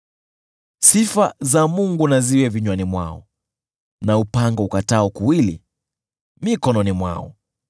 Sifa za Mungu na ziwe vinywani mwao na upanga ukatao kuwili mikononi mwao,